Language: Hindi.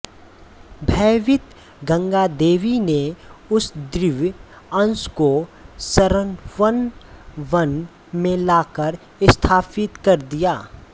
भयभीत गंगादेवी ने उस दिव्य अंश को शरवण वन में लाकर स्थापित कर दिया